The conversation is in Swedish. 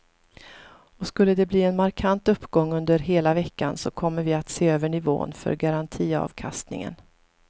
Och skulle de bli en markant uppgång under hela veckan så kommer vi att se över nivån för garantiavkastningen.